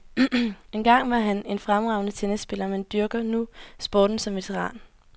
Engang var han en fremragende tennisspiller, men dyrker nu sporten som veteran.